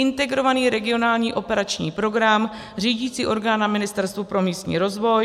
Integrovaný regionální operační program, řídicí orgán na Ministerstvu pro místní rozvoj;